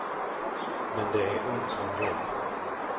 Men det är ont om jobb.